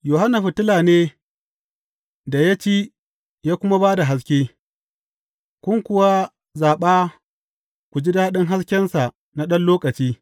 Yohanna fitila ne da ya ci ya kuma ba da haske, kun kuwa zaɓa ku ji daɗin haskensa na ɗan lokaci.